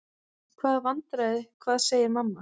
Hvaða vandræði, hvað segir mamma?